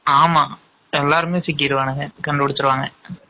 ஆமா எல்லாருமே சிக்கிருவாங்க கண்டுபிடிச்சுருவாங்க